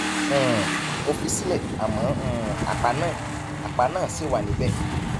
um mo fi í sílẹ àmọ um àpá náà àpá náà ṣì wà níbẹ